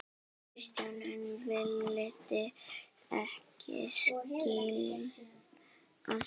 Kjartan en vildi ekki skilja.